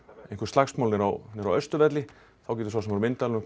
einhver slagsmál niðri á Austurvelli þá getur sá sem er á myndavélunum